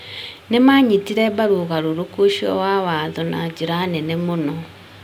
nĩ maanyitire mbaru ũgarũrũku ũcio wa watho na njĩra nene mũno.